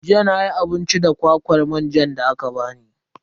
Jiya nayi abinci da kwakwar manjan da aka bani.